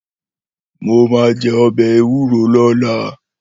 Mó má jè òbè éwúró lòlá